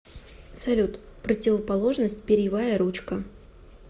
салют противоположность перьевая ручка